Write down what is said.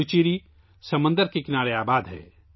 پڈوچیری سمندر کے کنارے واقع ہے